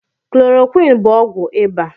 Klorokwinin bụ ọgwụ iba